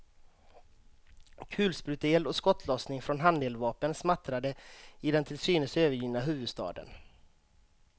Kulspruteeld och skottlossning från handeldvapen smattrade i den till synes övergivna huvudstaden.